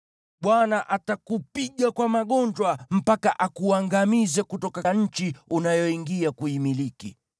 Bwana atakupiga kwa magonjwa mpaka akuangamize kutoka nchi unayoingia kuimiliki.